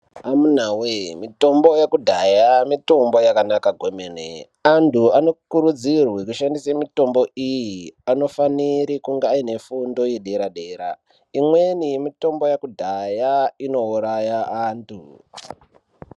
Amunawee mitombo yekudhaya mitombo yakanaka kwemene. Antu anokurudzirwe kushandise mitombo iyi anofanire kunge aine fundo yedera-dera imweni mitombo yekudhaya inouraya antu.